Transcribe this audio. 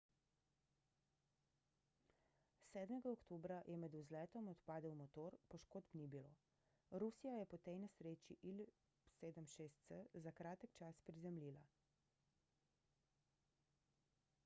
7 oktobra je med vzletom odpadel motor poškodb ni bilo rusija je po tej nesreči il-76s za kratek čas prizemljila